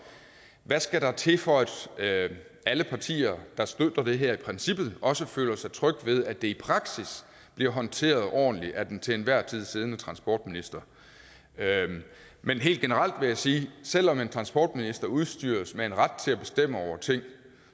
hvad skal der til for at alle partier der støtter det her i princippet også føler sig trygge ved at det i praksis bliver håndteret ordentligt af den til enhver tid siddende transportminister men helt generelt vil jeg sige at selv om en transportminister udstyres med en ret til at bestemme over ting